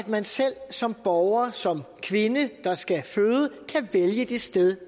man selv som borger som kvinde der skal føde kan vælge det sted